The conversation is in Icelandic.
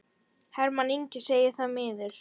Hermann Ingi segir það miður.